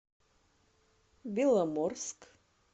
беломорск